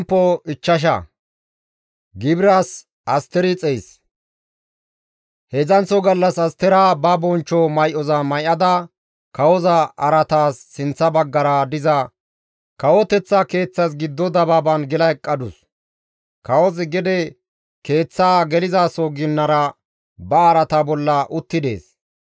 Heedzdzanththo gallas Astera ba bonchcho may7oza may7ada kawoza araataas sinththa baggara diza kawoteththa keeththas giddo dabaaban gela eqqadus. Kawozi gede keeththaa gelizaso ginara ba araata bolla utti dees.